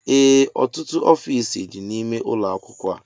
Ee ọtụtụ ọfiisi dị n'ime ụlọ akwụkwọ a